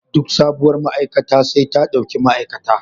Duk sabuwar ma'aikata sai ta ɗauki ma'aikata.